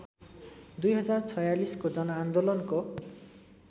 २०४६ को जनआन्दोलनको